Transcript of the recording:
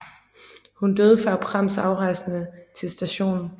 Hun døde før Prams afrejse til St